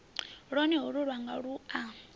lwone holu lwanga lu a